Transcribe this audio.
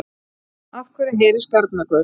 Af hverju heyrist garnagaul?